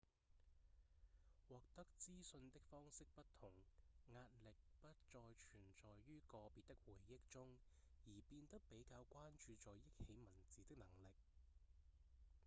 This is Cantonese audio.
獲得資訊的方式不同壓力不再存在於個別的回憶中而變得比較關注在憶起文字的能力